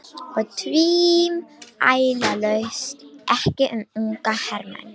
Og tvímælalaust ekki um unga hermenn